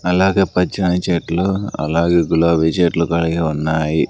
అలాగే పచ్చని చెట్లు అలాగే గులాబీ చెట్లు కలిగి ఉన్నాయి.